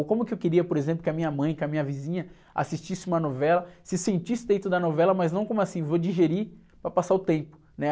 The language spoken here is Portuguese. Ou como que eu queria, por exemplo, que a minha mãe, que a minha vizinha assistisse uma novela, se sentisse dentro da novela, mas não como assim, vou digerir para passar o tempo, né?